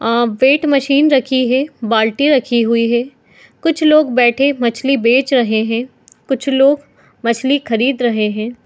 आ weight machine रखी है बाल्टी रखी हुई है कुछ लोग बैठे मछली बेच रहे है कुछ लोग मछली खरीद रहे है।